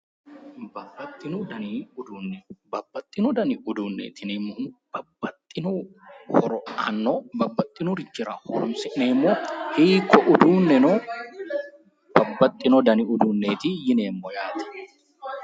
Babbaxxino dani uduunni Babbaxxino dani uduunneeti yineemmohu babbaxxino horo aanno, babbaxxinorichira horonsi'neemmo hiikko udunneno, babbaxxino dani uduunneeti yineemmo yaate.